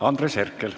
Andres Herkel.